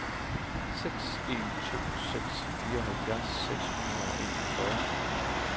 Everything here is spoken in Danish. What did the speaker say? seks en to seks fireoghalvfjerds seks hundrede og enogfyrre